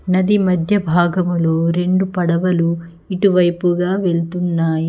నది మధ్య భాగములో రెండు పడవలు ఇటువైపుగా వెళ్తున్నాయి.